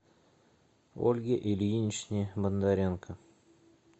ольге ильиничне бондаренко